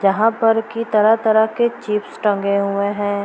जहाँ पर की तरह-तरह के चिप्स टंगे हुए हैं।